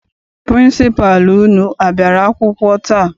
Pịrịnsịpalụ unu a bịara akwụkwọ taa?